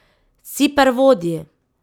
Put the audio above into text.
Ciper vodi!